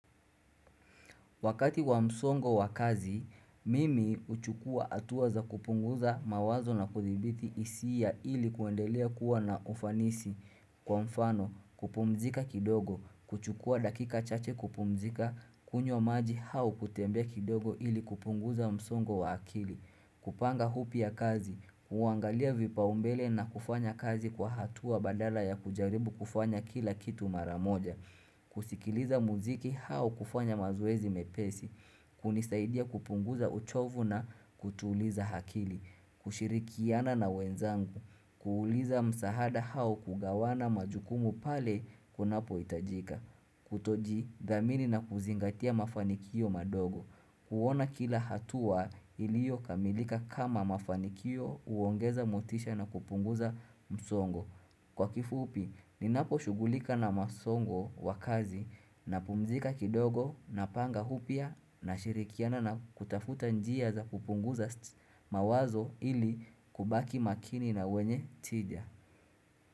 Wakati wa msongo wa kazi, mimi huchukua hatua za kupunguza mawazo na kuthibiti hisia ili kuendelea kuwa na ufanisi. Kwa mfano, kupumzika kidogo, kuchukua dakika chache kupumzika, kunywa maji au kutembea kidogo ili kupunguza msongo wa akili. Kupanga upya kazi, kuangalia vipaumbele na kufanya kazi kwa hatua badala ya kujaribu kufanya kila kitu maramoja. Kusikiliza muziki au kufanya mazoezi mepesi, hunisaidia kupunguza uchovu na kutuliza akili, kushirikiana na wenzangu, kuuliza msahada au kugawana majukumu pale kunapo hitajika, kutojidhamini na kuzingatia mafanikio madogo. Kuona kila hatua ilio kamilika kama mafanikio huongeza mutisha na kupunguza msongo. Kwa kifupi, ninapo shugulika na masongo wakazi na pumzika kidogo na panga upya na shirikiana na kutafuta njia za kupunguza mawazo ili kubaki makini na wenye tidya.